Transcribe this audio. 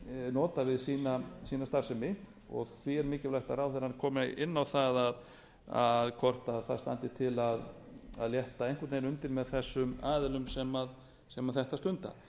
nota við sína starfsemi því er mikilvægt að ráðherrann komi inn á það hvort til standi að létta einhvern veginn undir með þessum aðilum sem þetta stunda